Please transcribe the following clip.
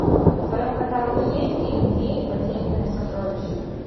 в твоем каталоге есть фильм феи потерянное сокровище